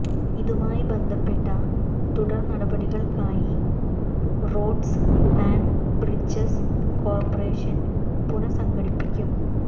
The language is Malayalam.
ഇതുമായി ബന്ധപ്പെട്ട തുടർ നടപടികൾക്കായി റോഡ്സ് ആന്റ് ബ്രിഡജസ് കോർപ്പറേഷൻ പുന സംഘടിപ്പിക്കും